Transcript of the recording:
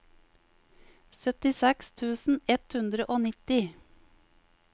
syttiseks tusen ett hundre og nitti